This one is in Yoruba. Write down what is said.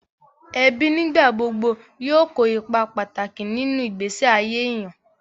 Ẹbí nígbà gbogbo yóò kó ipa pàtàkì nínú ìgbésí ayé èèyàn